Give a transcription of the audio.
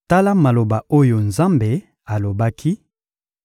Tala maloba oyo Nzambe alobaki: